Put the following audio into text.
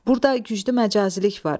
Burda güclü məcazilik var.